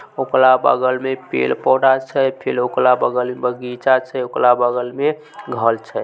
ओकरा बगल में पेड़-पोधा छे फिर ओकरा बगल में बगीचा छे ओकरा बगल में घर छे।